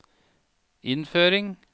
innføring